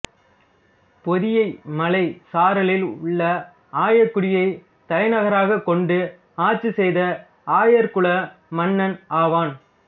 பொதியமலைச் சாரலில் உள்ள ஆய்க்குடியைத் தலைநகராகக் கொண்டு ஆட்சி செய்த ஆயர் குல மன்னன் ஆவான்